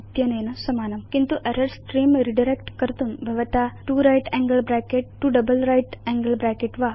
इत्यनेन समानम् किन्तु error स्त्रेऽं रिडायरेक्ट् कर्तुं भवता 2 right angle bracket 2 double right angle bracket